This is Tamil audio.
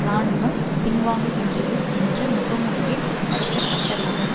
இராணுவம் பின்வாங்குகின்றது என்ற முகமூடியில் நடத்தப்பட்டதாகும்